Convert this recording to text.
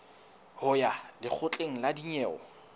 ho ya lekgotleng la dinyewe